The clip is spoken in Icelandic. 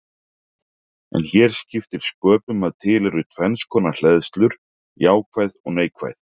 En hér skiptir sköpum að til eru tvenns konar hleðslur, jákvæð og neikvæð.